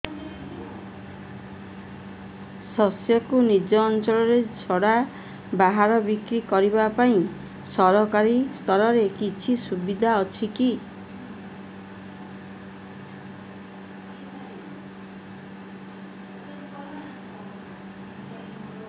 ଶସ୍ୟକୁ ନିଜ ଅଞ୍ଚଳ ଛଡା ବାହାରେ ବିକ୍ରି କରିବା ପାଇଁ ସରକାରୀ ସ୍ତରରେ କିଛି ସୁବିଧା ଅଛି କି